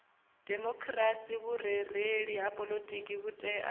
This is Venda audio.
demokhirasi vhurereli ha poḽotiki vhutea